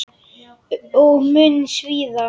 Og mun svíða.